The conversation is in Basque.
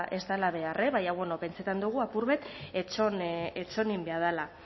ez dela behar baina bueno pentsatzen dugu apur bat itxoin egin behar dela